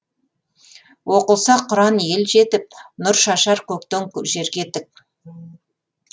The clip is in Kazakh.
оқылса құран ел жетіп нұр шашар көктен жерге тік